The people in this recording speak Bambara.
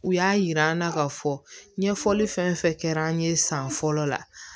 U y'a yira an na k'a fɔ ɲɛfɔli fɛn fɛn kɛra an ye san fɔlɔ la